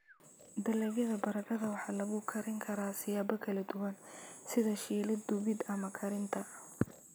Dalagyada baradhada waxaa lagu karin karaa siyaabo kala duwan sida shiilid, dubid, ama karinta.